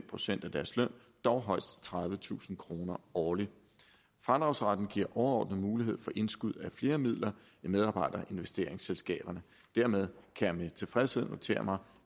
procent af deres løn dog højst tredivetusind kroner årligt fradragsretten giver overordnet mulighed for indskud af flere midler i medarbejderinvesteringsselskaberne dermed kan jeg med tilfredshed notere mig